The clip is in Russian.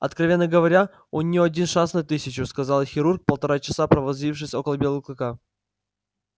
откровенно говоря у неё один шанс на тысячу сказал хирург полтора часа провозившись около белого клыка